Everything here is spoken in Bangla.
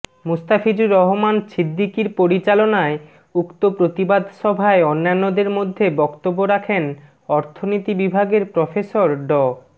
মুস্তাফিজুর রহমান ছিদ্দিকীর পরিচালনায় উক্ত প্রতিবাদ সভায় অন্যান্যদের মধ্যে বক্তব্য রাখেন অর্থনীতি বিভাগের প্রফেসর ড